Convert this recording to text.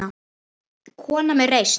Kona með reisn.